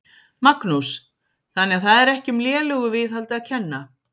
Magnús: Þannig að það er ekki um lélegu viðhaldi að kenna?